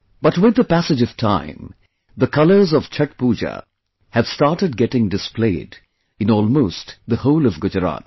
But with the passage of time, the colors of Chhath Puja have started getting dissolved in almost the whole of Gujarat